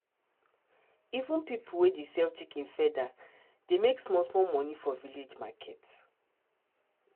even pipo wey dey sell chicken feather dey make small small money for village market.